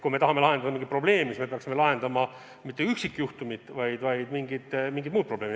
Kui me tahame lahendada mingit probleemi, siis me ei peaks lahendama mitte üksikjuhtumit, vaid mingit muud probleemi.